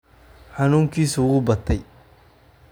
Xanuunkiisu wuu batay